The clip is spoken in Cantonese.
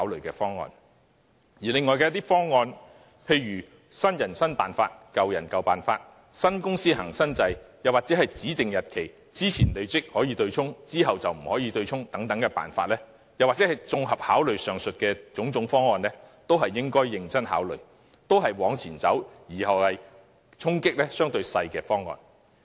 至於另一些方案，例如建議"新人新辦法、舊人舊辦法"，新公司行新制，在指定日期之前的累積供款權益可作對沖，之後則不可以等，又或是綜合考慮上述各項方案，都是應該認真考慮、往前走而衝擊相對較少的方案。